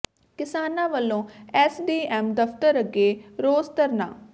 ਕਿਸਾਨਾਂ ਵੱਲੋਂ S D M ਦਫ਼ਤਰ ਅੱਗੇ ਰੋਸ ਧਰਨਾ